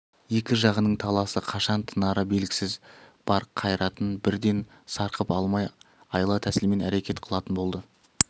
екі жағының таласы қашан тынары белгісіз бар қайратын бірден сарқып алмай айла тәсілмен әрекет қылатын болды